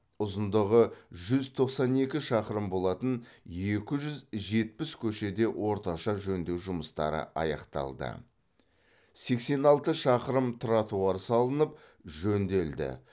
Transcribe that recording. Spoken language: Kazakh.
ұзындығы жүз тоқсан екі шақырым болатын екі жүз жетпіс көшеде орташа жөндеу жұмыстары аяқталды сексен алты шақырым тротуар салынып жөнделді